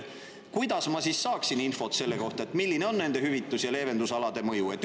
Kuidas ma siis saaksin infot selle kohta, milline on nende hüvitus‑ ja leevendusalade mõju?